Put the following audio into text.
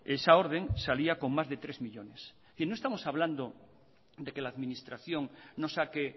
esa orden salía con más de tres millónes no estamos hablando de que la administración no saque